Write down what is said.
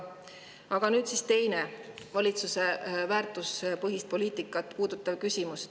Aga nüüd siis teine valitsuse väärtuspõhist poliitikat puudutav küsimus.